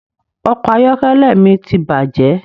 Ọkọ̀ ayọ́kẹ́lẹ́ mi ti bàjé